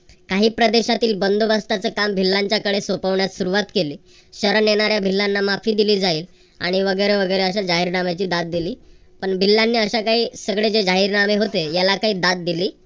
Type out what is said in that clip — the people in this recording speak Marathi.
काही प्रदेशातील बंदोबस्ताच काम भिल्लांकडे सोपविण्यास सुरुवात केली. शरण येणाऱ्या भिल्लांना माफी दिली जाईल आणि वगैरे वगैरे अशी जाहीरनाम्याची दाद दिली. पण भिल्लांनी अशा काही सगळे जे जाहीर नामे होते याला काय दाद दिली